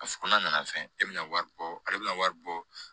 A ko n'a nana fɛn e bɛna wari bɔ ale bɛna wari bɔ